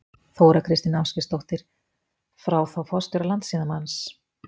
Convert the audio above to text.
Þóra Kristín Ásgeirsdóttir: Frá þá forstjóra Landssímans?